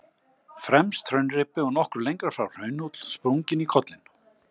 Fremst hraunreipi og nokkru lengra frá hraunhóll, sprunginn í kollinn.